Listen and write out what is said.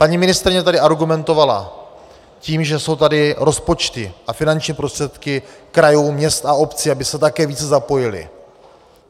Paní ministryně tady argumentovala tím, že jsou tady rozpočty a finanční prostředky krajů, měst a obcí, aby se také více zapojily.